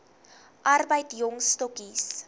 arbeid jong stokkies